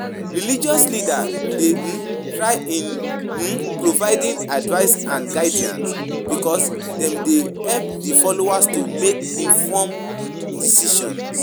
Religious leaders dey um try in um providing advice and guidance because dem dey help di followers to make informed decisions.